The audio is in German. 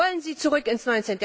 Wollen Sie zurück ins